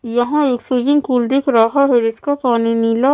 यहाँ एक swimming pool दिख रहा है जिसका पानी नीला --